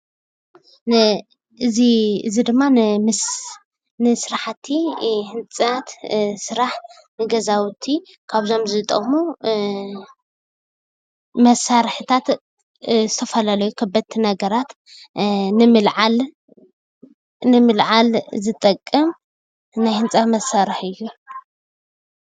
እዚ ድማ ንስራሕቲ ህንፀት ስራሕ ገዛውቲ ካብዞም ዝጠቕሙ መሳሪሕታት ንዝተፈላለዩ ከበድቲ ነገራት ንመለዓል ዝጠቅም ናይ ህንፃ መሳሪሒ እዩ።